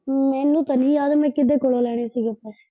ਮੈਨੂੰ ਤਾਂ ਨੀ ਯਾਦ ਮੈਂ ਕੀਦੇ ਕੋਲੋ ਲੈਣੇ ਸੀਗੇ ਪੈਸੇ।